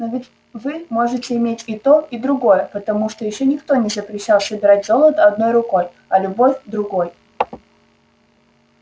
но ведь вы можете иметь и то и другое потому что ещё никто не запрещал собирать золото одной рукой а любовь другой